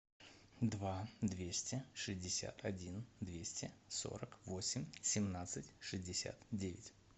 два двести шестьдесят один двести сорок восемь семнадцать шестьдесят девять